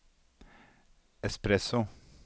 espresso